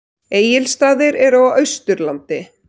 Egilsstaðir eru á Austurlandi.